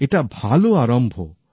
একটা ভাল আরম্ভ